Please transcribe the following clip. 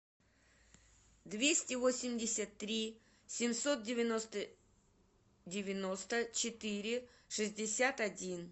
двести восемьдесят три семьсот девяносто девяносто четыре шестьдесят один